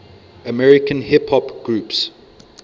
american hip hop groups